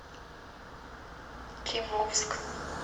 кимовск